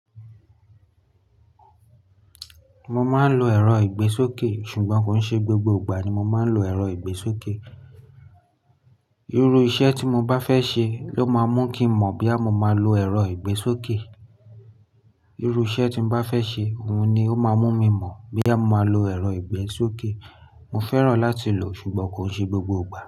Mo máa ń lo ẹ̀rọ ìgbésókè, ṣùgbọ́n kò ṣe gbogbo ìgbà ni mo máa ń lo ẹ̀rọ ìgbésókè. Irú iṣẹ́ tí mo bá fẹ́ ṣe ló máa ń mú kí n mọ̀ bí a mo máa lo ẹ̀rọ ìgbésókè. Irú iṣẹ́ tí mo bá fẹ́ ṣe, òun ni ó máa ń mú mi mọ̀ bóyá mo máa lo ẹ̀rọ ìgbésókè. Mo fẹ́ràn láti lò ó, ṣùgbọ́n kò ṣe gbogbo ìgbà.